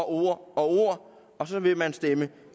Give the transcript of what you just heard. ord og ord og så vil man stemme